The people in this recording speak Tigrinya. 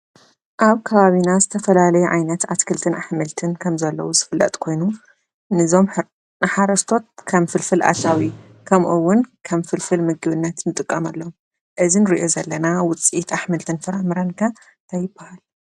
ኣብ ከባብና ዝተፈላለዩ ዓይነት ኣትክልትታት ኣሕምልቲን ከም ዘለው ዝፍለጥ ኮይኑ ነዞም ንሓረስቶት ከም ፍልፍል ኣታውን ከምኡ እዉን ከም ፍልፍል ምግብነት እንጥቀመሉ እዙይ እንርእዮ ዘለና ውፅኢት ኣሕምልቲን ፍራምረን ከ እንታይ ይብሃል?